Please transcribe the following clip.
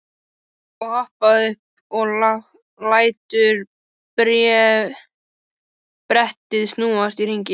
Svo hopparðu upp og lætur brettið snúast í hring.